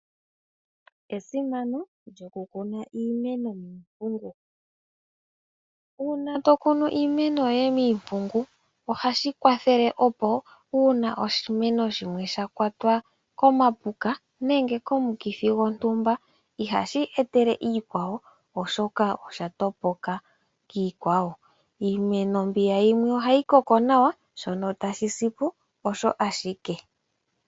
Esimano lyokukuna iimeno miipungu. Uuna tokunu iimeno yoye miipungu ohashi kwathele opo uuna oshimeno shimwe shakwatwa komapuka nenge komukithi gontumba ihashi etele iikwawo oshoka osha topoka kiikwawo. Iimeno mbiya yimwe ohayi mene nawa shono tashi si po osho ashike.